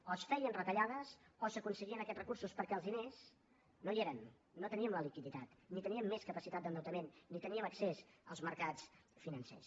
o es feien retallades o s’aconseguien aquests recursos perquè els diners no hi eren no teníem la liquiditat ni teníem més capacitat d’endeutament ni teníem accés als mercats financers